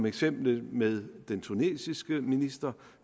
eksemplet med den tunesiske minister